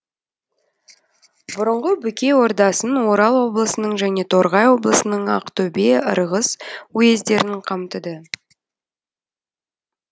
бұрынғы бөкей ордасын орал облысының және торғай облысының ақтөбе ырғыз уездерін қамтыды